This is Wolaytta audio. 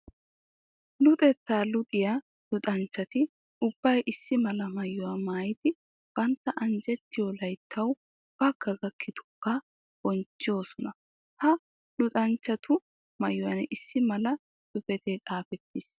Luxetta luxiya luxanchchatti ubbay issi mala maayuwa maayiddi bantta anjjetiyo layttawu bagga gakkidooga bonchchosonna. Ha luxanchchattu maayuwan issi mala xuufe xaafetiis.